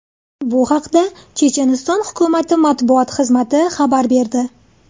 Bu haqda Checheniston hukumati matbuot xizmati xabar berdi .